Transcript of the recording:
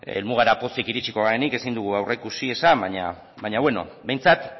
helmugara pozik iritsiko garenik ezin dugu aurreikusi esan baina bueno behintzat